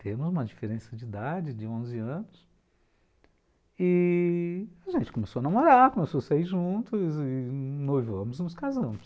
Temos uma diferença de idade de onze anos e a gente começou a namorar, começou a sair juntos e noivovamos e nos casamos.